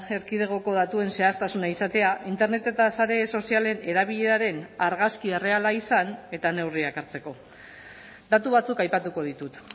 erkidegoko datuen zehaztasuna izatea internet eta sare sozialen erabileraren argazki erreala izan eta neurriak hartzeko datu batzuk aipatuko ditut